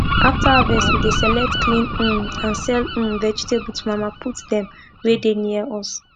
after harvest we dey select clean um and sell um vegetable to mama put dem wey dey near us